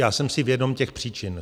Já jsem si vědom těch příčin.